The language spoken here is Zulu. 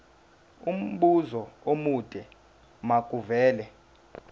umbuzo omude makuvele